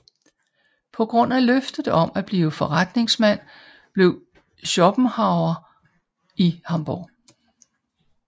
På grund af løftet om at blive forretningsmand blev Schopenhauer i Hamburg